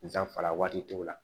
N danfara waati dɔw la